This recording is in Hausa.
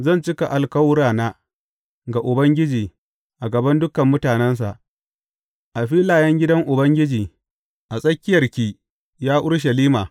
Zan cika alkawurana ga Ubangiji a gaban dukan mutanensa, a filayen gidan Ubangiji, a tsakiyarki, ya Urushalima.